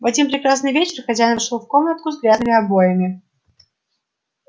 в один прекрасный вечер хозяин вошёл в комнатку с грязными обоями